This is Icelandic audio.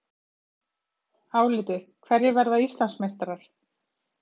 Álitið: Hverjir verða Íslandsmeistarar?